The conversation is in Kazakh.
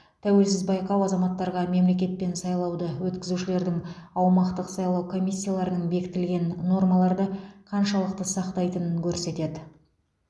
тәуелсіз байқау азаматтарға мемлекет пен сайлауды өткізушілердің аумақтық сайлау комиссияларының бекітілген нормаларды қаншалықты сақтайтынын көрсетеді